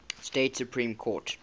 state supreme court